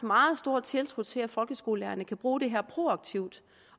meget stor tiltro til at folkeskolelærerne kan bruge det her proaktivt